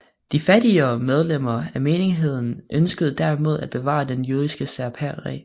De fattigere medlemmer af menigheden ønskede derimod at bevare det jødiske særpræg